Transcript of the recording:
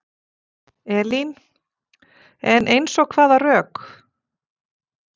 Elín: En eins og hvaða rök?